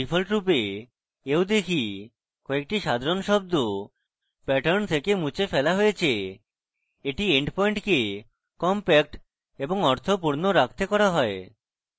ডিফল্টরূপে we দেখি কয়েকটি সাধারণ শব্দ pattern থেকে মুছে ফেলা হয় হয়েছে এটি endpoint কে কম্প্যাক্ট এবং অর্থপূর্ণ রাখতে করা হয়